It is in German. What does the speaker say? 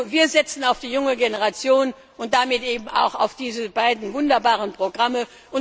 Wir setzen auf die junge Generation und damit auch auf diese beiden wunderbaren Programme.